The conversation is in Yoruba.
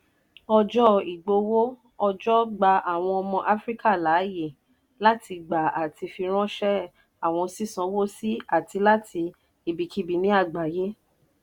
ọjọ́ ìgbowó-ọjọ́ gba àwọn ọmọ áfríkà láàyè láti gbà àti firańṣẹ́ àwọn sísánwó sí àti láti ibikíbi ní àgbáyé.